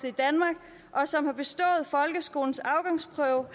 at og som har bestået folkeskolens afgangsprøve